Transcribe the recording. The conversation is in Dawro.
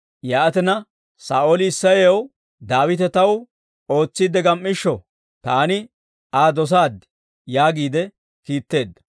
Yaatina, Saa'ooli Isseyaw, «Daawite taw ootsiidde gam"ishsho; taani Aa dosaad» yaagiide kiitteedda.